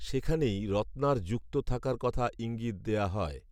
সেখানেই রত্নার যুক্ত থাকার কথা ঈঙ্গিত দেয়া হয়